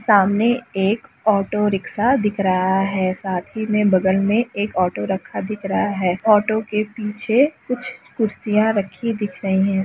सामने एक auto rickshaw दिख रहा है साथ ही में बगल में एक ऑटो रखा दिख रहा है ऑटो के पीछे कुछ कुर्सियां रखी दिख रही है।